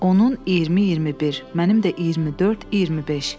Onun 20-21, mənim də 24-25.